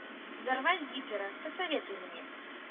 взорвать гитлера посоветуй мне